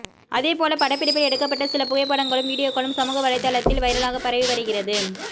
அதேபோல படப்பிடிப்பில் எடுக்கப்பட்ட சில புகைப்படங்களும் வீடியோக்களும் சமூக வலைத்தளத்தில் வைரலாக பரவி வருகிறது